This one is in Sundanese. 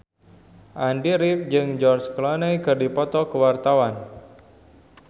Andy rif jeung George Clooney keur dipoto ku wartawan